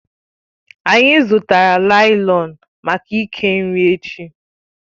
Anyị zụtara láị́lọn maka ike nri echi